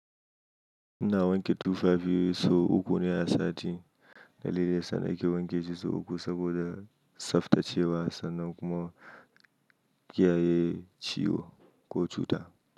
Ina wanke tufafi ne sau uku ne a sati. Dalilin sa na ke wanke shi sau uku saboda tsaftacewa sannan kuma kiyaye ciwo ko cuta.